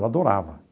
Eu adorava.